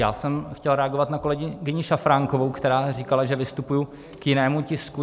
Já jsem chtěl reagovat na kolegyni Šafránkovou, která říkala, že vystupuji k jinému tisku.